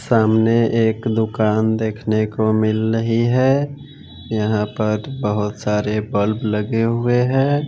सामने एक दुकान देखने को मिल रही हैं यहां पर बहोत सारे बल्ब लगे हुए है।